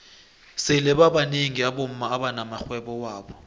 sele babnengi abomma abana maxhwebo wabo